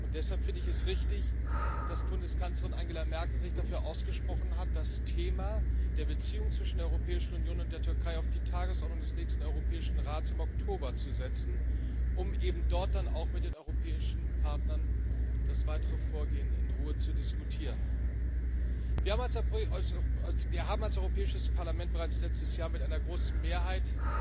Und deshalb finde ich es richtig, dass Bundeskanzlerin Angela Merkel sich dafür ausgesprochen hat, das Thema der Beziehungen zwischen der Europäischen Union und der Türkei auf die Tagesordnung des nächsten Europäischen Rates im Oktober zu setzen, um eben dort dann auch mit den europäischen Partnern das weitere Vorgehen in Ruhe zu diskutieren. Wir haben als Europäisches Parlament bereits letztes Jahr mit einer großen Mehrheit